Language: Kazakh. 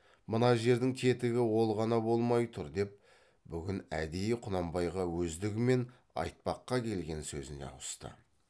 мына жердің тетігі ол ғана болмай тұр деп бүгін әдейі құнанбайға өздігімен айтпаққа келген сөзіне ауысты